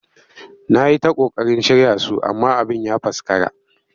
Na yi ta ƙoƙarin shirya su amma abin ya faskara